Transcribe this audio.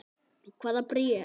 Hvaða bréf?